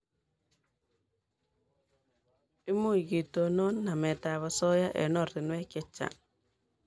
Much ketonon namet ab asoya eng' oratinwek checgang'